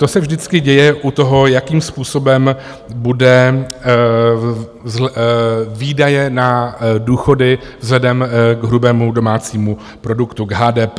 To se vždycky děje u toho, jakým způsobem budou výdaje na důchody vzhledem k hrubému domácímu produktu, k HDP.